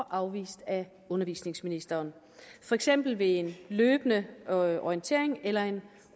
afvist af undervisningsministeren for eksempel ved en løbende orientering eller en